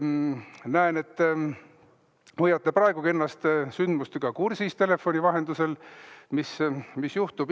Näen, et hoiate praegugi ennast telefoni vahendusel sündmustega kursis, et mis juhtub.